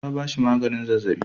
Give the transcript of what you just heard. Ta ba shi maganin zazzaɓi.